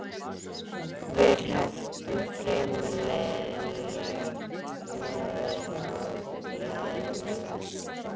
Við hrepptum fremur leiðinlegt veður á leiðinni vestur.